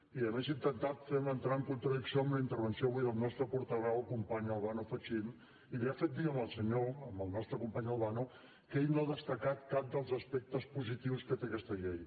i a més ha intentat fer me entrar en contradicció amb la intervenció avui del nostre portaveu el company albano fachin i li ha fet dir al senyor al nostre company albano que ell no ha destacat cap dels aspectes positius que té aquesta llei